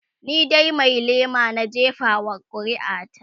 ni dai Mai lema na jefa wa ƙuri'a ta